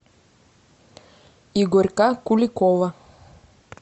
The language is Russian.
игорька куликова